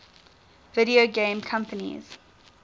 video game companies